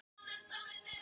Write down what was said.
Við erum ekki dýr